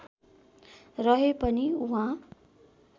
रहे पनि उहाँ